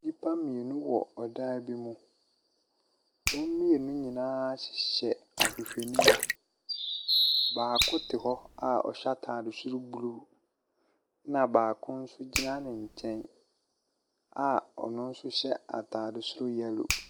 Nnipa mmienu wɔ ɔdan bi mu, wɔn mmienu nyinaa hyehyɛ ahwehwɛniwa. Baako te hɔ a ɔhyɛ ataade soro blue, na baako nso gyina ne nkyɛn a ɔno nso hyɛ ataade soro yellow.